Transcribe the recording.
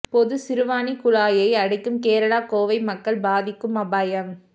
பொது சிறுவாணி குழாயை அடைக்கும் கேரளா கோவை மக்கள் பாதிக்கும் அபாயம்